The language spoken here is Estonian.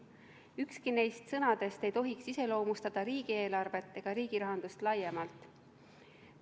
Ükski neist sõnadest ei tohiks iseloomustada riigieelarvet ega riigirahandust laiemalt.